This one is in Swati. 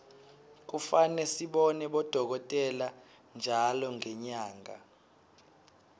kufane sibone bodokotela ntjalo ngenyanga